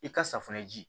I ka safunɛ ji